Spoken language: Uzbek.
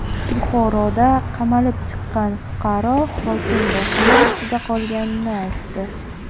Buxoroda qamalib chiqqan fuqaro hokim bosimi ostida qolganini aytdi.